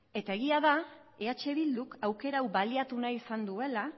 eta egia da eh bilduk aukera hau baliatu nahi izan duela